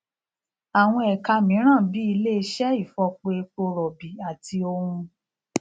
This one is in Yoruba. àwọn ẹka mìíràn bíi ilé iṣẹ ìfọpo epo rọbì àti ohun